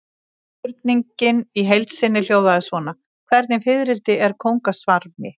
Spurningin í heild sinni hljóðaði svona: Hvernig fiðrildi er kóngasvarmi?